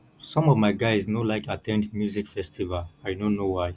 some of my guys no like at ten d music festival i no know why